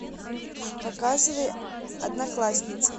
показывай одноклассницы